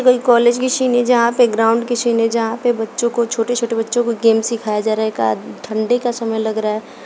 ये कोई एक कॉलेज की सीन है जहां पे ग्राउंड की सीन है जहां पे बच्चों को छोटे छोटे बच्चों को गेम सिखाया जा रहा है। एक आद ठंडी का समय लग रहा है।